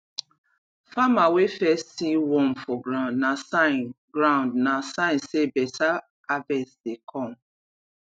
farmer wey first see worm for ground na sign ground na sign say better harvest dey come